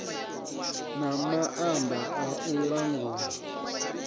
na maanḓa a u langula